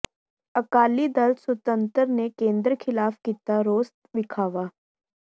ਅਕਾਲੀ ਦਲ ਸੁਤੰਤਰ ਨੇ ਕੇਂਦਰ ਖ਼ਿਲਾਫ਼ ਕੀਤਾ ਰੋਸ ਵਿਖਾਵਾ